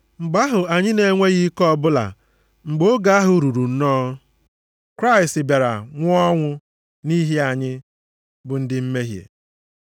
Mgbe ahụ anyị na-enweghị ike ọbụla, mgbe oge ahụ ruru nnọọ, Kraịst bịara nwụọ ọnwụ nʼihi anyị bụ ndị mmehie.